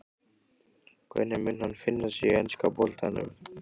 Hvernig mun hann finna sig í enska boltanum?